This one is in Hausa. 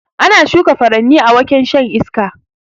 Ana shuka furanni a waken shan iska